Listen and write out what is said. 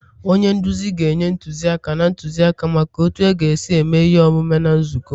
onye nduzi ga-enye ntụziaka na ntụzịaka maka otu a ga-esi eme ihe omume na nzukọ